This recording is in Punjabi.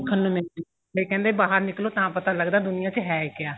ਨੂੰ ਮਿਲਦੀ ਏ ਵੀ ਕਹਿੰਦੇ ਬਾਹਰ ਨਿਕਲੋ ਤਾਂ ਪਤਾ ਲੱਗਦਾ ਦੁਨੀਆਂ ਚ ਹੈ ਕਿਆ